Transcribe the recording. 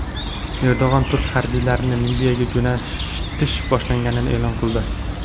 Erdo‘g‘on turk harbiylarini Liviyaga jo‘natish boshlanganini e’lon qildi.